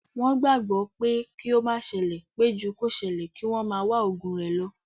Wọn gbagbọ pé kí ó má sele pé ju kí o ṣẹlẹ̀, kí wọ́n máa wá ògùn rẹ lo